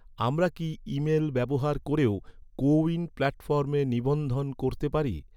আমরা কি ইমেল ব্যবহার করেও, কো উইন প্ল্যাটফর্মে নিবন্ধন করতে পারি?